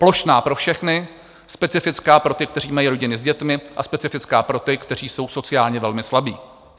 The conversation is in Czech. Plošná pro všechny, specifická pro ty, kteří mají rodiny s dětmi, a specifická pro ty, kteří jsou sociálně velmi slabí.